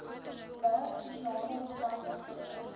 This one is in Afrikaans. wel spesiale omstandighede